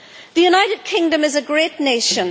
The United Kingdom is a great nation.